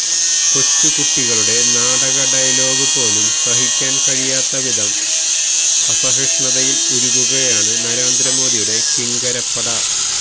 കൊച്ചുകുട്ടികളുടെ നാടകഡയലോഗു പോലും സഹിക്കാന് കഴിയാത്തവധം അസഹിഷ്ണുതയില് ഉരുകുകയാണ് നരേന്ദ്രമോദിയുടെ കിങ്കരപ്പട